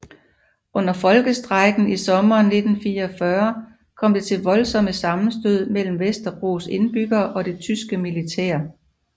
Under Folkestrejken i sommeren 1944 kom det til voldsomme sammenstød mellem Vesterbros indbyggere og det tyske militær